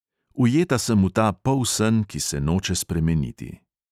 Ujeta sem v ta polsen, ki se noče spremeniti.